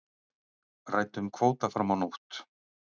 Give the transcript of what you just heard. Ræddu um kvóta fram á nótt